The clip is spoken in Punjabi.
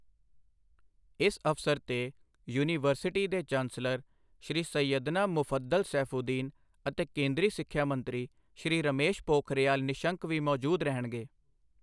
ਇਸ ਅਵਸਰ ਤੇ ਯੂਨੀਵਰਸਿਟੀ ਦੇ ਚਾਂਸਲਰ ਸ਼੍ਰੀ ਸੈਯਦਨਾ ਮੁਫੱਦਲ ਸੈਫੂਦੀਨ ਅਤੇ ਕੇਂਦਰੀ ਸਿੱਖਿਆ ਮੰਤਰੀ ਸ਼੍ਰੀ ਰਮੇਸ਼ ਪੋਖਰਿਯਾਲ ਨਿਸ਼ੰਕ ਵੀ ਮੌਜੂਦ ਰਹਿਣਗੇ।